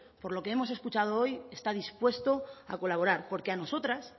por lo que hemos escuchado hoy está dispuesto a colaborar porque a nosotras